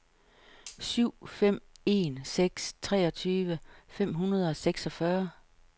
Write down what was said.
syv fem en seks treogtyve fem hundrede og seksogfyrre